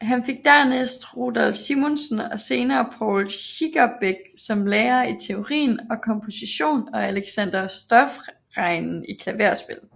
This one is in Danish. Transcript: Han fik dernæst Rudolph Simonsen og senere Poul Schierbeck som lærer i teori og komposition og Alexander Stoffregen i klaverspil